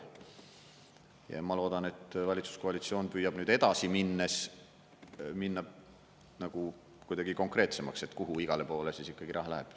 Ja ma loodan, et valitsuskoalitsioon püüab edasi minnes minna nagu kuidagi konkreetsemaks, et kuhu igale poole siis ikkagi raha läheb.